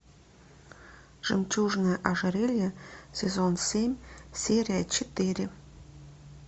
жемчужное ожерелье сезон семь серия четыре